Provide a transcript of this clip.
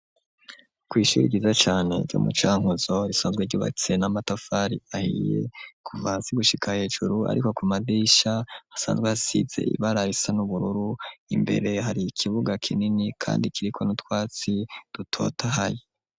Kw' ishuri ryiza cane ryo mucankuzo ,risanzwe ryubatse n'amatafari ahiye ,kuva hasi gushika hejuru, ariko ku madirisha asanzwe asize ibara risa n'ubururu ,imbere hari ikibuga kinini kandi kiriko n'utwatsi dutotahaye.